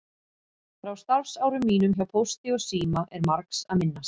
Frá starfsárum mínum hjá Pósti og síma er margs að minnast.